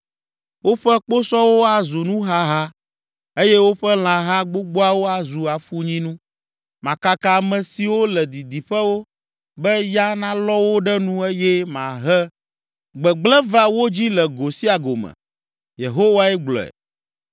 “Woƒe kposɔwo azu nuhaha eye woƒe lãha gbogboawo azu afunyinu. Makaka ame siwo le didiƒewo, be ya nalɔ wo ɖe nu eye mahe gbegblẽ va wo dzi le go sia go me.” Yehowae gblɔe.